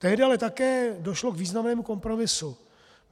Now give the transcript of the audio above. Tehdy ale také došlo k významnému kompromisu.